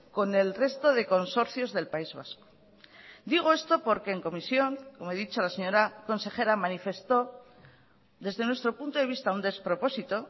con el resto de consorcios del país vasco digo esto porque en comisión como he dicho la señora consejera manifestó desde nuestro punto de vista un despropósito